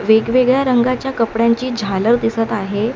वेगवेगळ्या रंगाच्या कपड्यांची झालर दिसत आहे.